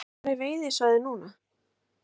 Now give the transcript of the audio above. Hafþór: Hvar er veiðisvæðið núna?